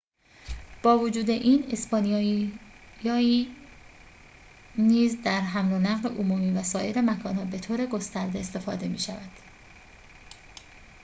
با وجود این اسپانیایی نیز در حمل و نقل عمومی و سایر مکان‌ها به‌طور گسترده استفاده می‌شود